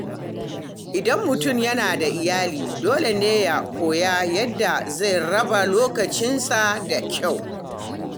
Idan mutum yana da iyali, dole ne ya koya yadda zai raba lokacinsa da kyau.